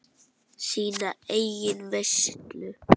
Sína eigin veislu.